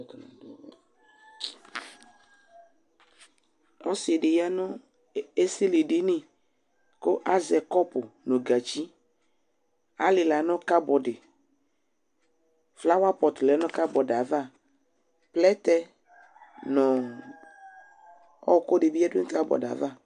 Ɔsi di yanʋ esilidini kʋ azɛ kɔpʋ nʋ gatsi Alila nʋ kabɔdi Flawapɔtʋ lɛ nʋ kabɔdi yɛ ava Plɛtɛ nʋ ɔwɔkʋ di bi yadu nu kabɔdi yɛ ava